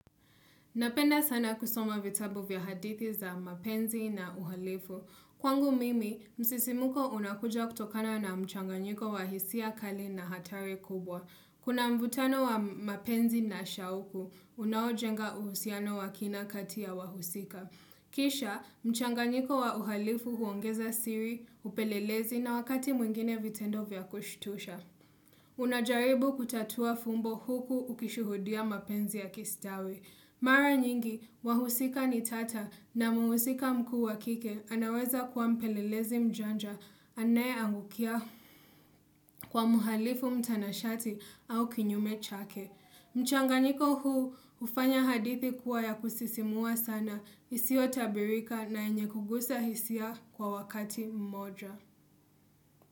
Napenda sana kusoma vitabu vya hadithi za mapenzi na uhalifu. Kwangu mimi, msisimuko unakuja kutokana na mchanganyiko wa hisia kali na hatari kubwa. Kuna mvutano wa mapenzi na shauku, unaojenga uhusiano wa kina kati ya wahusika. Kisha, mchanganyiko wa uhalifu huongeza siri, hupelelezi na wakati mwingine vitendo vya kushtusha. Unajaribu kutatua fumbo huku ukishuhudia mapenzi ya kistawi. Mara nyingi wahusika nitata na mhusika mkuu wakike anaweza kuwa mpelelezi mjanja anaye angukia kwa muhalifu mtanashati au kinyume chake. Kisha, mchanganyiko wa uhalifu huongeza siri, upelelezi na wakati mwingine vitendo vya kushtusha.